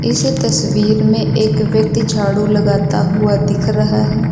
इस तस्वीर में एक व्यक्ति झाड़ू लगाता हुआ दिख रहा है।